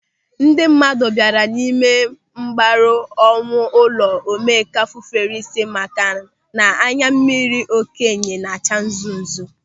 Ndị mmadụ bịara ịme mgbaru ọnwụ n'ụlọ Omenkà fufere isi maka na anyammiri okenye na-acha nzú nzú.